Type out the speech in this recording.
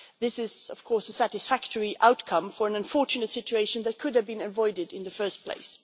This is, of course, a satisfactory outcome for an unfortunate situation that could have been avoided in the first place.